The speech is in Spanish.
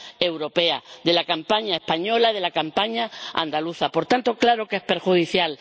europea, de la campaña española y de la campaña andaluza. Por tanto, claro que es perjudicial.